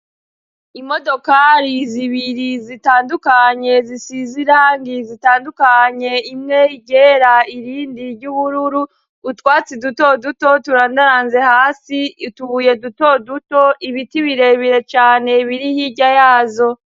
Imodokari zibiri zitandukanye zisize irangi zitandukanye, imwe iryera irindi iry'ubururu, utwatsi dutoduto turandaranze hasi , utubuye dutoduto, ibiti birebire cane biri hirya yazo.